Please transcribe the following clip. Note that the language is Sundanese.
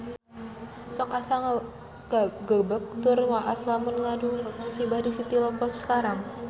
Sok asa ngagebeg tur waas lamun ngadangu musibah di City Lippo Cikarang